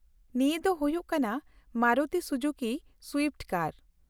-ᱱᱤᱭᱟᱹ ᱫᱚ ᱦᱩᱭᱩᱜ ᱠᱟᱱᱟ ᱢᱟᱨᱤᱛᱩ ᱥᱩᱡᱩᱠᱤ ᱥᱩᱭᱤᱯᱷᱴ ᱠᱟᱨ ᱾